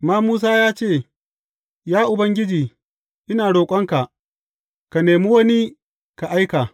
Amma Musa ya ce, Ya Ubangiji, ina roƙonka, ka nemi wani ka aika.